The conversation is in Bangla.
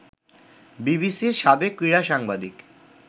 বিবিসির সাবেক ক্রীড়া সাংবাদিক